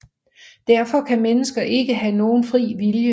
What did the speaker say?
Derfor kan mennesket ikke have nogen fri vilje